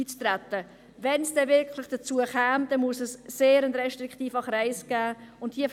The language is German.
Käme es wirklich dazu, müsste es einen sehr restriktiven Kreis geben.